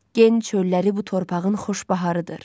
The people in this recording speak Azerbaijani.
Gen çölləri bu torpağın xoş baharıdır.